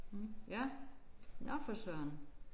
Ja. Nåh for søren